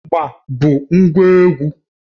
Ịgba bụ ngwa egwu